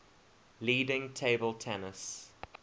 leading table tennis